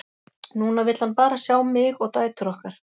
Núna vill hann bara sjá mig og dætur okkar.